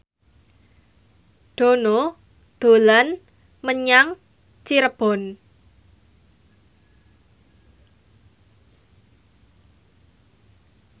Dono dolan menyang Cirebon